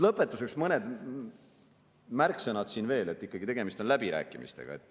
Lõpetuseks mõned märksõnad veel, ikkagi on tegemist läbirääkimistega.